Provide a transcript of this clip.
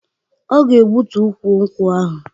Ọ ga-egbutu ukwu nkwụ ahụ